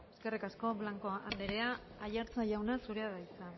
eskerrik asko blanco anderea aiartza jauna zurea da hitza